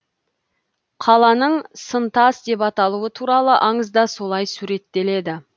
қаланың сынтас деп аталуы туралы аңызда солай суреттеледі